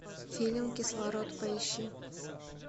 фильм кислород поищи